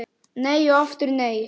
Nei og aftur nei!